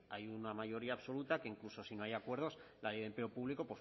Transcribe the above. hay una mayoría absoluta que incluso si no hay acuerdos la ley de empleo público